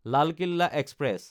Lal Kila express